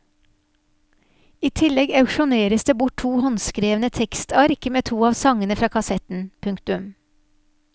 I tillegg auksjoneres det bort to håndskrevne tekstark med to av sangene fra kassetten. punktum